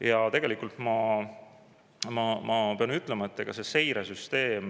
Ja tegelikult ma pean ütlema, et ega see seiresüsteem …